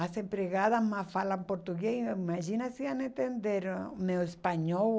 As empregadas mal falam português, imagina se iam entender meu espanhol.